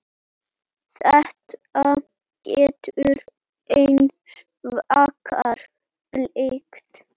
Þetta getur hins vegar blekkt.